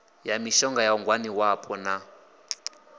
ya mishonga ya ngwaniwapo na